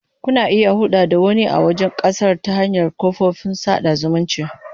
Kuna iya hulɗa da wani a wajen ƙasar ta hanyar kafofin sada zumunci.